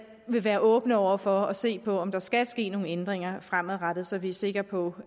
vil være åbne over for at se på om der skal ske nogle ændringer fremadrettet så vi er sikre på